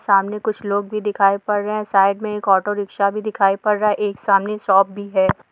सामने कुछ लोग भी दिखाई पड़ रहे साइड मे एक ऑटो रिक्शा दिखाई पड़ रहा एक सामने शॉप भी है।